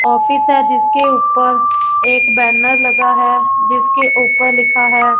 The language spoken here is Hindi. ऑफिस है जिसके ऊपर एक बैनर लगा है जिसके ऊपर लिखा है।